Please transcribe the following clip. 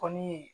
Kɔni ye